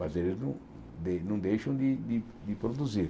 Mas eles não dei não deixam de de produzir.